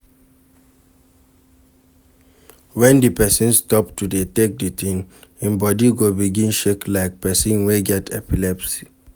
When di person stop to dey take di thing im body go begin shake like person wey get epilepsy